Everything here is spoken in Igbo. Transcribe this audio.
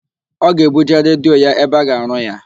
Ọ ga-ebuje redio ya ebe a ga-arụ ya.